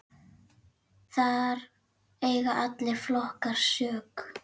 Þar eiga allir flokkar sök.